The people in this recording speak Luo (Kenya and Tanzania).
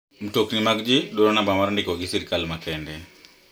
Mtokni mag ji dwaro namba mar ndiko gi sirkal makende.